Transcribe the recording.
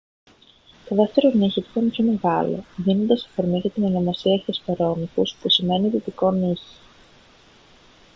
το δεύτερο νύχι του ήταν πιο μεγάλο δίνοντας αφορμή για την ονομασία hesperonychus που σημαίνει «δυτικό νύχι»